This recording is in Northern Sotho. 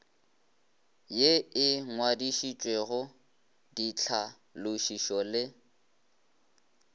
ye e ngwadišitšwego ditlhalošišo le